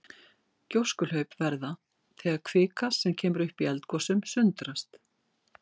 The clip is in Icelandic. Gjóskuhlaup verða þegar kvika sem kemur upp í eldgosum sundrast.